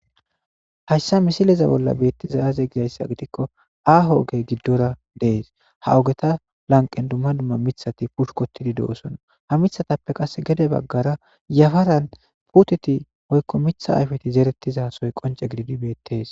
hayssa misileza bolla beettiza aze gizayssa gidikko aaho oge giddora dees ha ogeta lanqen dumma dumma mithati puhkotidi de7osona ha mithatappe qase gede baggara yafaran puteti moykko mitha ayfeti zeeretizasoy qonce gididi beettees